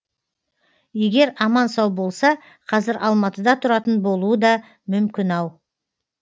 егер аман сау болса қазір алматыда тұратын болуы да мүмкін ау